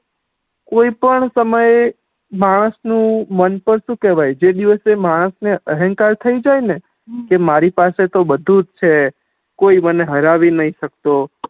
કોઈ પણ સમયે માણસ નુ મન પણ શુ કેહવાય જે દિવસે માણસ ને અહેનકાર થઇ જાય ને કે મારી પાસે બધુ જ છ કોઈ મને હેરાવી નઈ શકતો